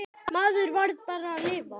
Maður varð bara að lifa.